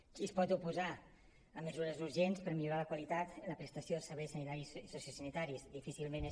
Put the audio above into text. qui es pot oposar a mesures urgents per millorar la qualitat en la prestació de serveis sanitaris i sociosanitaris difícilment és